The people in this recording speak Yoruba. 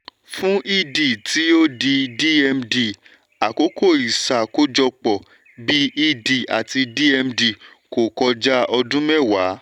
fún ed [c] tí ó di dmd àkókò ìṣákojọpọ̀ bí ed àti dmd kò kọjá ọdún mẹwàá.